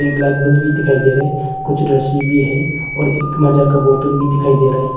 एक light bulb भी दिखाई दे रहा है कुछ रस्सी भी है और एक माजा का बोतल दिखाई दे रहा है।